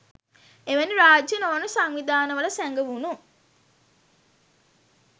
එවැනි රාජ්‍ය නොවන සංවිධානවල සැඟවුනු